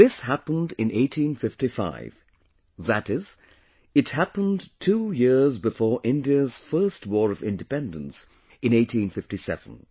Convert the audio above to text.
This happened in 1855, that is, it happened two years before India’s first war of independence in 1857